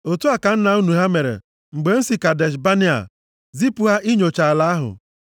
Otu a ka nna unu ha mere mgbe m si Kadesh Banea zipụ ha inyocha ala ahụ.